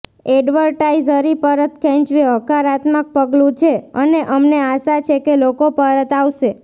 advisory પરત ખેંચવી હકારાત્મક પગલું છે અને અમને આશા છે કે લોકો પરત આવશે